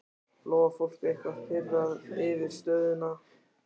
Lóa: Fólk eitthvað pirrað yfir stöðunni?